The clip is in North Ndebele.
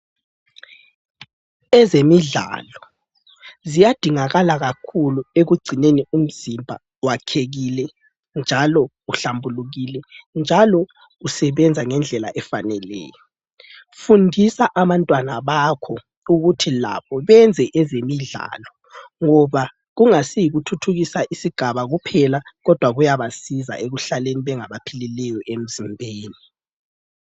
Ezemidlalo ziyadingakala kakhulu ekugcineni umzimba wakhekile njalo uhlambulukile njalo usebenza ngendlela efaneleyo. Fundisa abantwana bakho ukuthi labo benze ezemidlalo ngoba kungayisi yikuthuthukisa isigaba kuphela kodwa kuyabasiza ekuhlaleni bengaphilileyo emzimbeni.